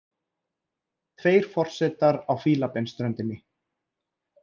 Tveir forsetar á Fílabeinsströndinni